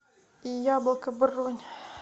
яблоко бронь